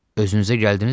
Özünüzə gədinizmi?